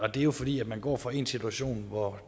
og det er jo fordi man går fra en situation hvor